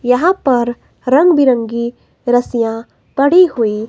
यहां पर रंग बिरंगी रसिया पड़ी हुई --